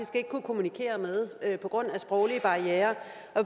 ikke kunne kommunikere med på grund af sproglige barrierer